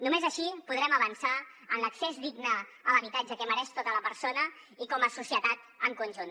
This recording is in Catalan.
només així podrem avançar en l’accés digne a l’habitatge que mereix tota persona i com a societat en conjunt